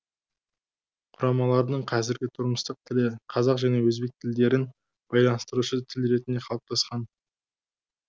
құрамалардың қазіргі тұрмыстық тілі қазақ және өзбек тілдерін байланыстырушы тіл ретінде қалыптасқан